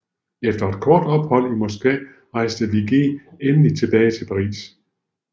Efter et kort ophold i Moskva rejste Vigée endelig tilbage til Paris